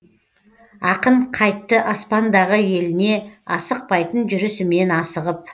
ақын қайтты аспандағы еліне асықпайтын жүрісімен асығып